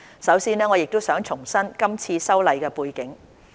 首先，我想重申今次修例的背景。